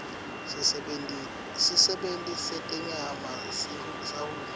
sisebenti setenyama sahulumende